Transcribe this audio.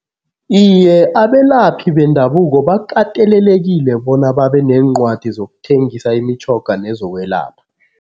Iye, abelaphi bendabuko bakatelelekile bona babe neencwadi zokuthengisa imitjhoga nezokwelapha.